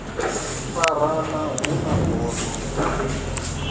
farana hu na bono a